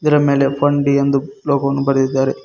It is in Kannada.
ಇದರ ಮೇಲೆ ಫನ್ ಡಿ ಎಂದು ಲೋಗೋ ವನ್ನು ಬರೆದಿದ್ದಾರೆ.